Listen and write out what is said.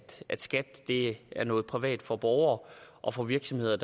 at skat er noget privat for borgere og for virksomheder